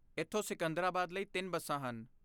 ਇੱਥੋਂ ਸਿਕੰਦਰਾਬਾਦ ਲਈ ਤਿੰਨ ਬੱਸਾਂ ਹਨ